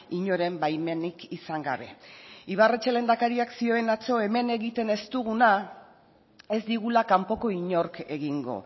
inoren baimenik izan gabe ibarretxe lehendakariak zioen atzo hemen egiten ez duguna ez digula kanpoko inork egingo